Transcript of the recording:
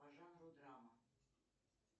по жанру драма